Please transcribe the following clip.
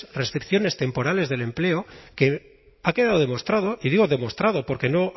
restricciones temporales del empleo que ha quedado demostrado y digo demostrado porque no